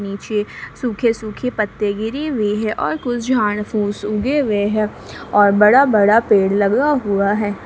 नीचे सूखे सूखे पत्ते गिरी हुई है और कुछ झाड़ फूस उगे हुए हैं और बड़ा बड़ा पेड़ लगा हुआ है।